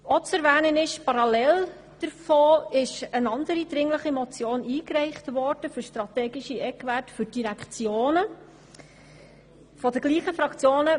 Parallel zu dieser Motion wurde von den gleichen Fraktionen beziehungsweise Personen eine andere dringliche Motion für strategische Eckwerte für die Direktionen eingereicht.